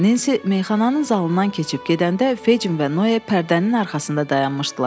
Nensi meyxananın zalından keçib gedəndə Fecin və Noe pərdənin arxasında dayanmışdılar.